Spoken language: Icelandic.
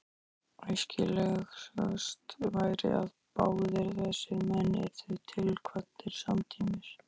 Æskilegast væri, að báðir þessir menn yrðu tilkvaddir samtímis.